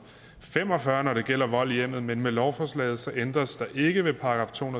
og fem og fyrre når det gælder vold i hjemmet men med lovforslaget ændres der ikke ved § to